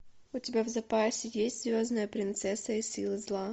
у тебя в запасе есть звездная принцесса и силы зла